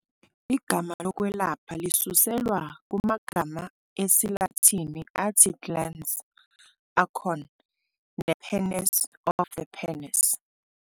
Igama lezokwelapha lisuselwa kumagama esiLatini "athi glans", "acorn", "nepenis", "of the penis".